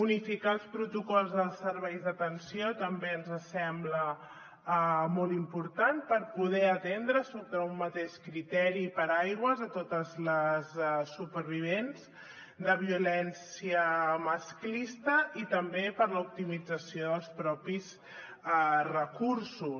unificar els protocols als serveis d’atenció també ens sembla molt important per poder atendre sota un mateix criteri i paraigua totes les supervivents de violència masclista i també per a l’optimització dels propis recursos